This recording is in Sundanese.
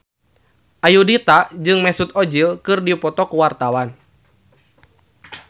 Ayudhita jeung Mesut Ozil keur dipoto ku wartawan